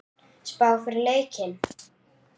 Spá fyrir leikinn?